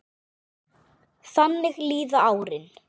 Þannig líða árin.